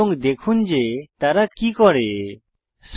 এবং দেখুন যে তারা কি করে